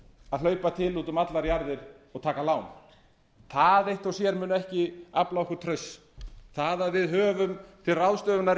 að hlaupa til út um allar jarðir og taka lán það eitt og sér mun ekki afla okkur trausts það að við höfum bil ráðstöfunar